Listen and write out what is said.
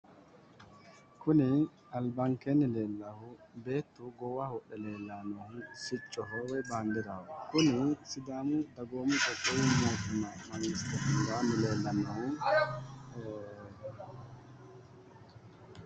Kun alibanikeeni leelahu beetu goowaho wodhe leelahu sicoho woy bandiraho kun sidaamu dagoomu qoqqowu mootimma mangste hundaani leelahu